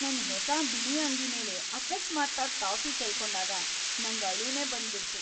ನನ್ ಹೊಸ ಬಿಳಿ ಅಂಗಿ ಮೇಲೆ ಅಕಸ್ಮಾತ್ತಾಗಿ ಕಾಫಿ ಚೆಲ್ಕೊಂಡಾಗ ನಂಗ್ ಅಳುನೇ ಬಂದ್ಬಿಡ್ತು.